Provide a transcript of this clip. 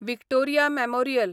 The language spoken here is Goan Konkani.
Victoria memorial